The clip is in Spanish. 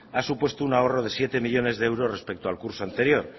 ha supuesto un ahorro de siete millónes de euros respecto al curso anterior